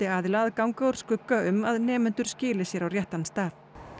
aðila að ganga úr skugga um að nemendur skili sér á réttan stað